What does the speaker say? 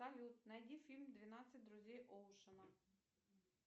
салют найди фильм двенадцать друзей оушена